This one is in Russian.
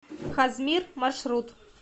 хозмир маршрут